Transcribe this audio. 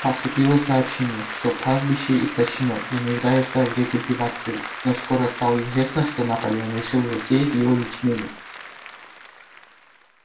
поступило сообщение что пастбище истощено и нуждается в рекультивации но скоро стало известно что наполеон решил засеять его ячменём